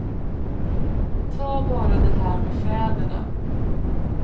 Ta bara det här med fäderna.